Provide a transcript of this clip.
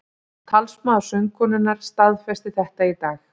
Talsmaður söngkonunnar staðfesti þetta í dag